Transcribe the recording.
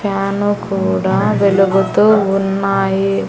Fan కూడా వెలుగుతూ ఉన్నాయి.